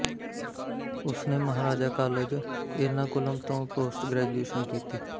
ਉਸਨੇ ਮਹਾਰਾਜਾ ਕਾਲਜ ਏਰਨਾਕੁਲਮ ਤੋਂ post graduation ਕੀਤੀ